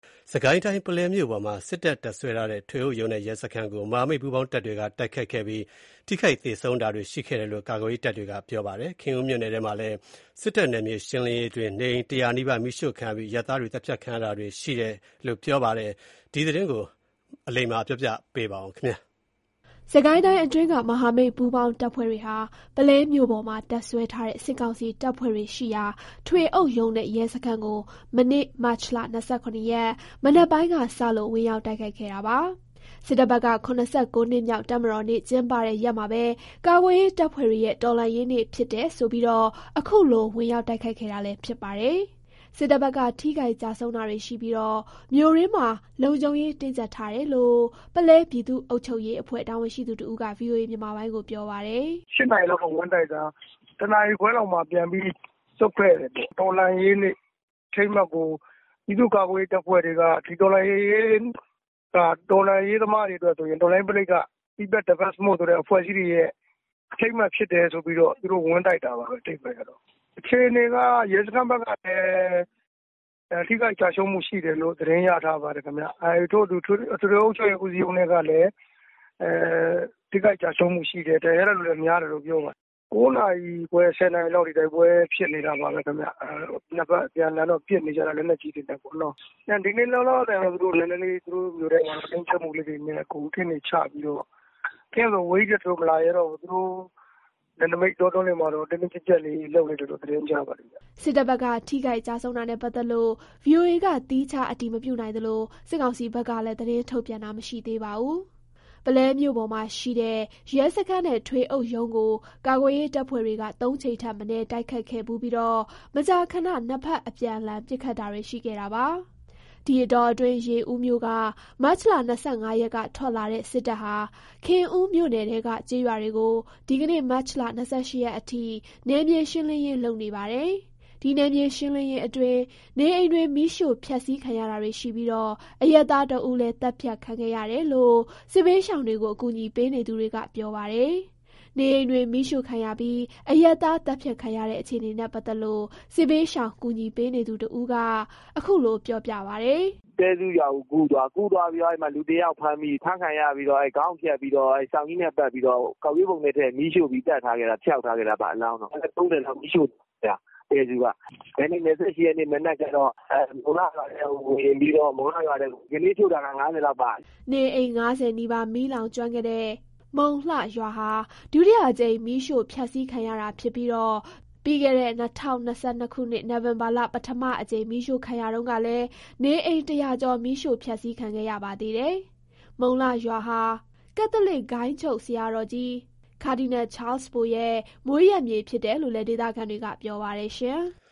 စစ်ကိုင်းတိုင်း၊ ပုလဲမြို့ပေါ်မှာ စစ်တပ် တပ်စွဲထားတဲ့ ထွေအုပ်ရုံးနဲ့ ရဲစခန်းကို မဟာမိတ် ပူးပေါင်းတပ်တွေက တိုက်ခိုက်ခဲ့ပြီး ထိခိုက်သေဆုံးတာတွေ ရှိတယ်လို့ ကာကွယ်ရေးတပ်တွေက ပြောပါတယ်။ ခင်ဦးမြို့နယ်ထဲမှာလည်း စစ်တပ် နယ်မြေရှင်းလင်းရေးအတွင်း နေအိမ် ၁၀၀ နီးပါး မီးရှို့ခံရပြီး အရပ်သားတွေ သတ်ဖြတ်ခံရတာတွေ ရှိနေပါတယ်။ ရန်ကုန်ကပေးပို့လာတဲ့ ဒီသတင်းကို အခြေခံပြီး အလိမ္မာက ပြောပြပါမယ်။ စစ်ကိုင်းတိုင်းအတွင်းက မဟာမိတ်ပူးပေါင်းတပ်ဖွဲ့တွေဟာ ပုလဲမြို့ပေါ်မှာ တပ်စွဲထားတဲ့ စစ်ကောင်စီတပ်ဖွဲ့တွေရှိရာ ထွေအုပ်ရုံးနဲ့ ရဲစခန်းကို မနေ့ မတ်လ ၂၇ ရက် မနက်ပိုင်းကစလို့ ဝင်ရောက် တိုက်ခိုက်ခဲ့တာပါ။ စစ်တပ်ဘက်က ၇၉ နှစ်မြောက် တပ်မတော်နေ့ ကျင်းပတဲ့ရက်မှာပဲ ကာကွယ်ရေး တပ်ဖွဲ့တွေရဲ့ တော်လှန်ရေးနေ့ဖြစ်တယ်ဆိုပြီး အခုလို ဝင်ရောက်တိုက်ခိုက်ခဲ့တာလည်း ဖြစ်ပါတယ်။ စစ်တပ်ဘက်က ထိခိုက်ကျဆုံးတာတွေရှိပြီး မြို့တွင်းမှာ လုံခြုံရေး တင်းကြပ်ထားတယ်လို့ ပုလဲပြည်သူ့ အုပ်ချုပ်ရေးအဖွဲ့ တာဝန်ရှိသူ တဦးက ပြောပါတယ်။ “၈ နာရီလောက်က ဝင်တိုက်တာ ၁ နာရီခွဲလောက်မှာ ပြန်ပြီး ဆုတ်ခဲ့တယ်ပေါ့။ တော်လှန်ရေးနေ့ အထိမ်းအမှတ်ကို ပြည်သူ့ကာကွယ်ရေး တပ်ဖွဲ့တွေက ဒီတော်လှန်ရေးက တော်လှန်ရေးသမားတွေအတွက်ဆိုရင် People Defence Force အဖွဲ့တွေရဲ့ အထိမ်းအမှတ် ဖြစ်တယ်ဆိုပြီးတော့ သူတို့ဝင်တိုက်တာပါ။ အခြေအနေက ရဲစခန်းဘက်ကလည်း ထိခိုက်ကျရှုံးမှုရှိတယ်လို့ သတင်းရထားပါတယ်။ ထွေအုပ်ရုံးကလည်း ထိခိုက်ကျရှုံးမှုရှိတယ်။ ဒဏ်ရာရတဲ့သူရှိတယ်လို့ပြောတယ်။ (ည) ၉ ခွဲ ၁၀ လောက်ထိ တိုက်ပွဲဖြစ်နေတာပဲ။ ၂ ဖက်အပြန်အလှန်ပစ်နေကြတာ လက်နက်ကြီးတွေနဲ့ပေါ့။ ဒီနေ့တော့ သူတို့မြို့ထဲမှာ အင်အားနဲ့ နည်းနည်းတင်းကြပ်မှုလေးတွေနဲ့ ကင်းတွေချပြီး ကင်းဆိုတာ သူတို့အဝေးကြီးလည်း မလာရဲတော့ဘူး သူတို့နယ်နိမိတ်လေးမှာ တင်းတင်းကြပ်ကြပ် လုပ်နေတယ်လို့ သတင်းကြားပါတယ်။” စစ်တပ်ဘက်က ထိခိုက် ကျဆုံးတာနဲ့ပတ်သက်လို့ ဗွီအိုအေက သီးခြားအတည်မပြုနိုင်သလို စစ်ကောင်စီ ဘက်ကလည်း သတင်းထုတ်ပြန်တာမရှိသေးပါဘူး။ ပုလဲမြို့ပေါ်မှာရှိတဲ့ ရဲစခန်းနဲ့ ထွေအုပ်ရုံးကို ကာကွယ်ရေး တပ်ဖွဲ့တွေက ၃ ကြိမ်ထက်မနည်း တိုက်ခိုက်ခဲ့ဖူးပြီး မကြာခဏ ၂ ဖက်အပြန်အလှန် ပစ်ခတ်တာတွေ ရှိခဲ့ပါတယ်။ ဒီအတောအတွင်း ရေဦးမြို့က မတ်လ ၂၅ ရက်က ထွက်လာတဲ့ စစ်တပ်ဟာ ခင်ဦးမြို့နယ်ထဲက ကျေးရွာတွေကို ဒီကနေ့ မတ်လ ၂၈ ရက်အထိ နယ်မြေ ရှင်းလင်းရေး လုပ်နေပါတယ်။ ဒီ နယ်မြေရှင်းလင်းရေးအတွင်း နေအိမ်တွေ မီးရှို့ဖျက်စီးခံရတာတွေရှိပြီး အရပ်သား ၁ ဦးလည်း သတ်ဖြတ်ခံရတယ်လို့ စစ်ဘေးရှောင် ကူညီပေးနေသူတွေက ပြောပါတယ်။ နေအိမ်တွေမီးရှို့ခံရပြီး အရပ်သား သတ်ဖြတ်ခံရတဲ့ အခြေအနေနဲ့ ပတ်သက်လို့ စစ်ဘေးရှောင်ကူညီပေးနေသူ တဦးက အခုလို ပြောပြပါတယ်။ “တဲစု ရွာကိုကူးသွားချိန် လူတယောက် ဖမ်းခံရတယ်။ ဖမ်းသွားပြီးတော့ ခေါင်းဖြတ်ပြီး စောင်နဲ့ပတ်ပြီး ကောက်ရိုးပုံထဲ မီးရှို့ပြီး သတ်ထားခဲ့တာ။ အလောင်းတော့ ဖျောက်ထားခဲ့တာပေါ့။ အိမ် ၃၀ လောက်လည်း မီးရှို့သွားတယ် တဲစု က။ ဒီနေ့ ၂၈ ရက် မနက်ကြတော့ မုံလှ ရွာထဲကိုဝင်ပြီးတော့ ဒီကနေ့ ရှို့တာက ၅၀ လောက် ပါသွားတယ်။” နေအိမ် ၅၀ နီးပါး မီးလောင်ကျွမ်းခဲ့တဲ့ မုံလှရွာဟာ ဒုတိယအကြိမ် မီးရှို့ဖျက်စီးခံရတာဖြစ်ပြီး ပြီးခဲ့တဲ့ ၂၀၂၂ နိုဝင်ဘာလ ပထမအကြိမ် မီးရှို့ခံရတုန်းကလည်း နေအိမ် ၁၀၀ ကျော် မီးရှို့ ဖျက်စီးခံခဲ့ရပါသေးတယ်။ မုံလှ ရွာဟာ ကက်သလစ် ဂိုဏ်းချုပ်ဆရာတော်ကြီး ကာဒီနယ် ချားလ်စ်ဘိုရဲ့ မွေးရပ်မြေဖြစ်တယ်လို့လည်း ဒေသခံတွေက ပြောပါတယ်။